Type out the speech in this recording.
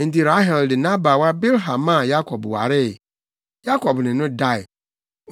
Enti Rahel de nʼabaawa Bilha maa Yakob waree. Yakob ne no dae.